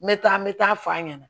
N bɛ taa n bɛ taa f'a ɲɛna